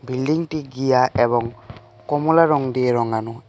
বিল্ডিংটি গিয়া এবং কমলা রং দিয়ে রঙানো এ--